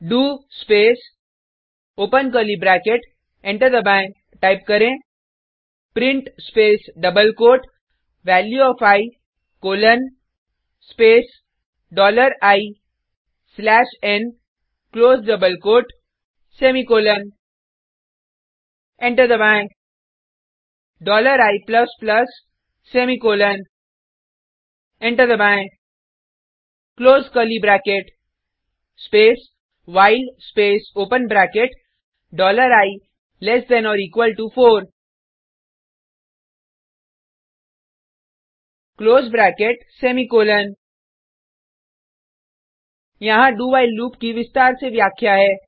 do space open curly bracket enter दबाएँ type करें print space double quote value of I colon space dollar I slash n close double quote semicolon enter दबाएँ dollar I plus plus semicolon enter दबाएँ close curly bracket space while space open bracket dollar I less than or equal to four close bracket semicolon यहाँ do while loop की विस्तार से व्याख्या है